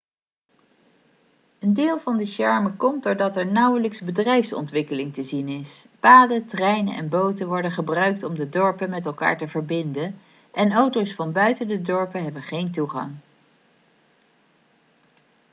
een deel van de charme komt doordat er nauwelijks bedrijfsontwikkeling te zien is paden treinen en boten worden gebruikt om de dorpen met elkaar te verbinden en auto's van buiten de dorpen hebben geen toegang